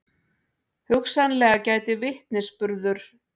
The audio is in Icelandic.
Hugsanlega gæti vitnisburður